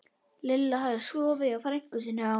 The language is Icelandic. Lilla hafði sofið hjá frænku sinni á